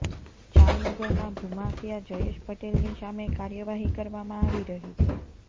જામનગરના ભૂમાફિયા જયેશ પટેલની સામે કાર્યવાહી કરવામાં આવી રહી છે